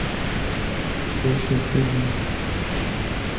tsotlhe tse di thaletsweng di